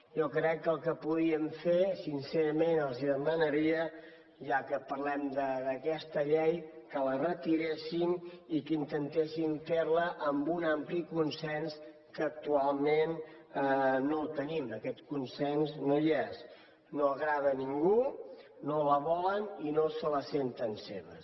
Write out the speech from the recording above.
jo crec que el que podríem fer sincerament els demanaria ja que parlem d’aquesta llei que la retiressin i que intentessin fer la amb un ampli consens que actualment no el tenim aquest consens no hi és no agrada a ningú no la volen i no se la senten seva